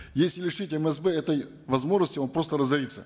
если лишить мсб этой возможности он просто разорится